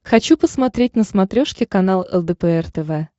хочу посмотреть на смотрешке канал лдпр тв